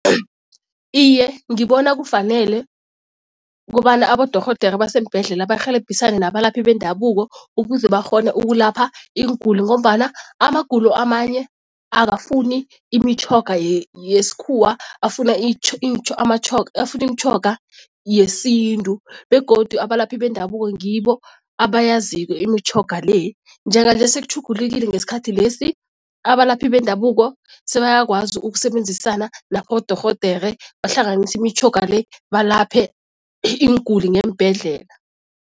Iye, ngibona kufanele ukobana abodorhodera abaseembhedlela barhelebhisane nabalaphi bendabuko ukuze bakghone ukulapha iinguli ngombana amagulo amanye akafuni imitjhoga yesikhuwa afuna afuna imitjhoga yesintu begodu abalaphi bendabuko ngibo abayaziko imitjhoga le. Njenganje sekutjhulukile ngesikhathi lesi, abalaphi bendabuko sebayakwazi ukusebenzisana nabodorhodere bahlanganise imitjhoga le, balaphe iinguli ngeembhedlela.